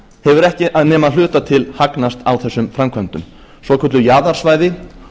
hefur ekki nema að hluta til hagnast á þessum framkvæmdum svokölluð jaðarsvæði